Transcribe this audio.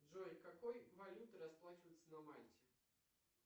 джой какой валютой расплачиваться на мальте